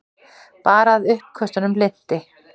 Bara að uppköstunum linnti.